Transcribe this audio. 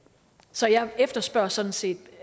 så jeg efterspørger sådan set